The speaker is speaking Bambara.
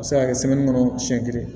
A bɛ se ka kɛ kɔnɔ siɲɛ kelen